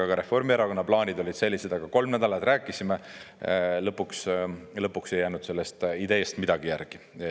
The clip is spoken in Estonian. Ka Reformierakonna plaanid olid sellised, aga kolm nädalat rääkisime, lõpuks ei jäänud sellest ideest midagi järgi.